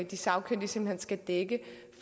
de sagkyndige skal dække